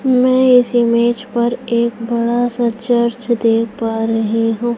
मैं इस इमेज पर एक बड़ा सा चर्च देख पा रही हूं।